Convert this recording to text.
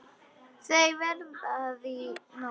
Þau verða þar í nótt.